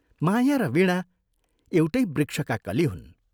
माया र वीणा एउटै वृक्षका कली हुन्।